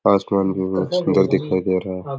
आसमान भी बहुत सुन्दर दिखाई दे रहा है।